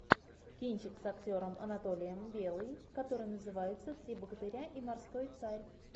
кинчик с актером анатолием белым который называется три богатыря и морской царь